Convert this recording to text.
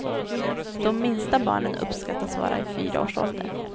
De minsta barnen uppskattas vara i fyraårsåldern.